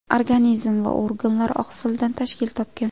Organizm va organlar oqsildan tashkil topgan.